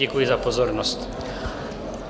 Děkuji za pozornost.